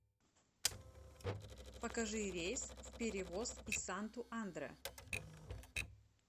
покажи рейс в перевоз из санту андре